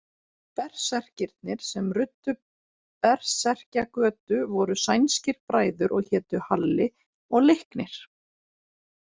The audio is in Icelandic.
Berserkirnir sem ruddu Berserkjagötu voru sænskir bræður og hétu Halli og Leiknir.